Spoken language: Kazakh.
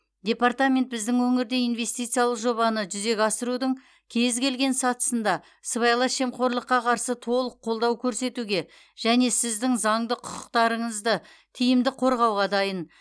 департамент біздің өңірде инвестициялық жобаны жүзеге асырудың кез келген сатысында сыбайлас жемқорлыққа қарсы толық қолдау көрсетуге және сіздің заңды құқықтарыңызды тиімді қорғауға дайын